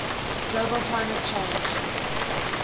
global climate change